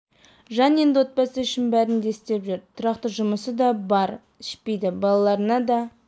жан енді отбасы үшін брін де істеп жүр тұрақты жұмысы да бар ішпейді балаларына да